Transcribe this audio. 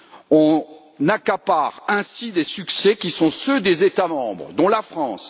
On s'accapare ainsi les succès qui sont ceux des États membres, dont la France.